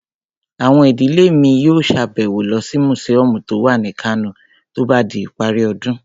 Àwọn ìdílé mi yóò sàbẹ̀wo lọ sí mùsíọ̀mù tó wà ní Kano tó bá di ìparí ọdún